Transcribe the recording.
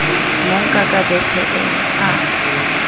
monka ka bethe eo a